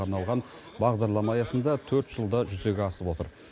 арналған бағдарлама аясында төрт жылда жүзеге асып отыр